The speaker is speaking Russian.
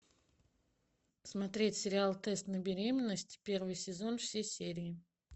смотреть сериал тест на беременность первый сезон все серии